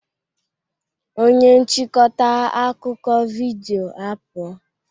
Onye nchịkọta akụkọ vidiyo apụọ